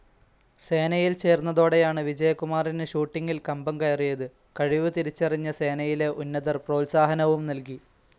സേനയിൽ ചേർന്നതോടെയാണ് വിജയകുമാറിന് ഷൂട്ടിങ്ങിൽ കമ്പംകയറിയത്. കഴിവ് തിരിച്ചറിഞ്ഞ സേനയിലെ ഉന്നതർ പ്രോത്സാഹനവും നൽകി.